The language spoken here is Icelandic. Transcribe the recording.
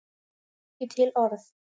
Á ekki til orð.